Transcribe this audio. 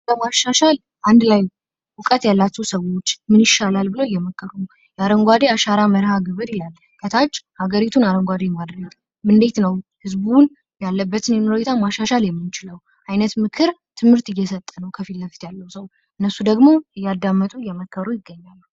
ለማሻሻክ አንድ ላይ እውቀት ያላቸው ሰዎች ምን ይሻላል ብለው እየመከሩ ነው። በአረንጓዴ አሻራ መርሀ-ግብር ያለ ከታች ሀገሪቱን አረንጓዴ ማድረግ እንዴት ነው። ያለበትን ሁኔታ ማሻሻል የምንችለው አይነት ምክር ትምህርት እየሰጠ ነው። ከፊት ለፊት ያለው ሰዉየ እነሱ ደግሞ እያዳመጡ እየመከሩ ይገኛሉ።